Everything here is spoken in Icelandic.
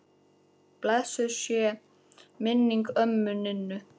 Blessuð sé minning ömmu Ninnu.